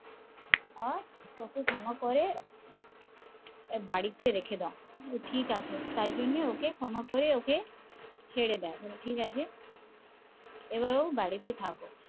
আহ ওকে ক্ষমা করে বাড়িতে রাখে দাও ঠিকাছে তাই জন্যই ওকে ছেড়ে দেয় ঠিকাছে এবার ও বাড়িতে থাকো